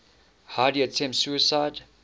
heidi attempts suicide